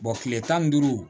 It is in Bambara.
kile tan ni duuru